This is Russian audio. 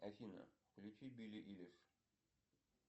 афина включи билли айлиш